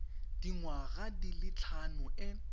dingwaga di le tlhano e